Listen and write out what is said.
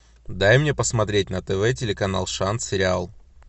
дай мне посмотреть на тв телеканал шанс сериал